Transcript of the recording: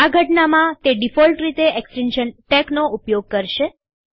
આ ઘટનામાં તે ડીફોલ્ટ રીતે એક્સ્ટેન્શન ટેક્સ નો ઉપયોગ કરશે